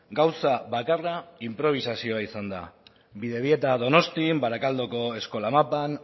gauza bakarra inprobisazioa izan da bidebieta donostian barakaldoko eskola mapan